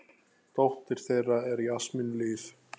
Dóttir þeirra er Jasmín Líf.